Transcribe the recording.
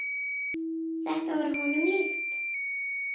Þetta var honum líkt.